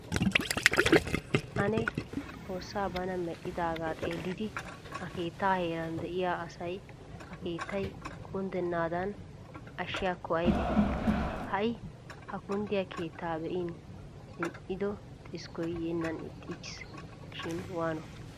Ane xoossaa bana mexxidaagaa xeellidi ha keettaa heeran de'iya asay ha keettay kunddennaadan ashshiyaakko aybe. Ha"i ha kunddiya keetta be'in zin"ido xiskkoy yeennan ixxiichchiisi shiini waano.